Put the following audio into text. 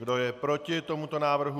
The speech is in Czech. Kdo je proti tomuto návrhu?